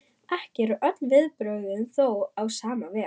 Ekki eru öll viðbrögðin þó á sama veg.